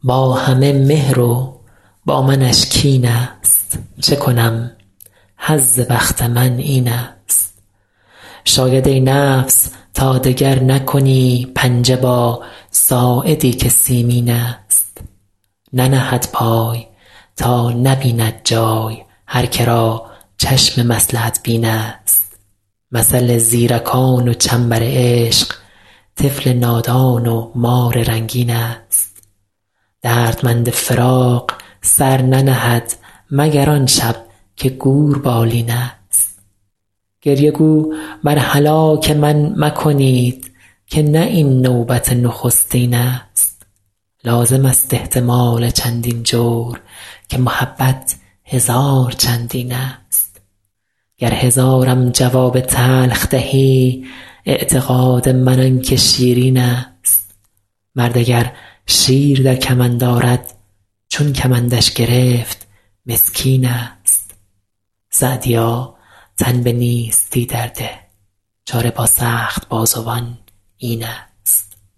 با همه مهر و با منش کین ست چه کنم حظ بخت من این ست شاید ای نفس تا دگر نکنی پنجه با ساعدی که سیمین ست ننهد پای تا نبیند جای هر که را چشم مصلحت بین ست مثل زیرکان و چنبر عشق طفل نادان و مار رنگین ست دردمند فراق سر ننهد مگر آن شب که گور بالین ست گریه گو بر هلاک من مکنید که نه این نوبت نخستین ست لازم است احتمال چندین جور که محبت هزار چندین ست گر هزارم جواب تلخ دهی اعتقاد من آن که شیرین ست مرد اگر شیر در کمند آرد چون کمندش گرفت مسکین ست سعدیا تن به نیستی در ده چاره با سخت بازوان این ست